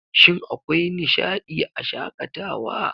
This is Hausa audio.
Shin akwai nishaɗii a Shakatawa?